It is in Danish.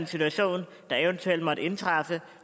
situation der eventuelt måtte indtræffe